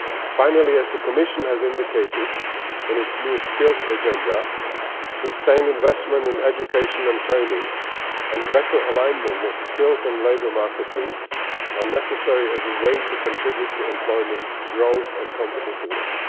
Finally, as the Commission has indicated in its new Skills Agenda, sustained investment in education and training and better alignment of skills and labour market needs are necessary as a way of contributing to employment, growth and competitiveness.